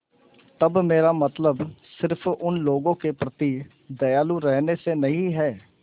तब मेरा मतलब सिर्फ़ उन लोगों के प्रति दयालु रहने से नहीं है